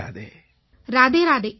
ராதே ராதே வணக்கம்